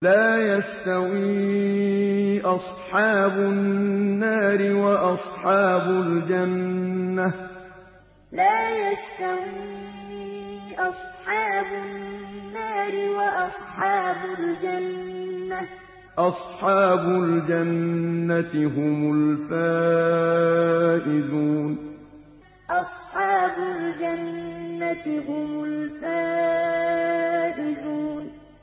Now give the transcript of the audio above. لَا يَسْتَوِي أَصْحَابُ النَّارِ وَأَصْحَابُ الْجَنَّةِ ۚ أَصْحَابُ الْجَنَّةِ هُمُ الْفَائِزُونَ لَا يَسْتَوِي أَصْحَابُ النَّارِ وَأَصْحَابُ الْجَنَّةِ ۚ أَصْحَابُ الْجَنَّةِ هُمُ الْفَائِزُونَ